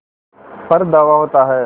पर धावा होता है